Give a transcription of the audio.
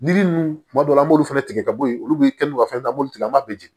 Yiri nunnu tuma dɔw la an b'olu fana tigɛ ka bɔ yen olu bɛ kɛ n'u ka fɛnbɛ tigɛ an b'a bɛɛ jeni